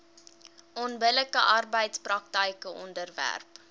onbillike arbeidspraktyke onderwerp